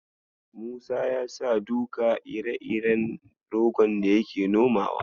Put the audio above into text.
Musa ya sa duka ire-iren rogon da yake nomawa.